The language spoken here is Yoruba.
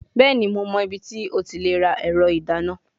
Bẹẹni, Mo mọ ibiti o ti le ra ẹrọ idana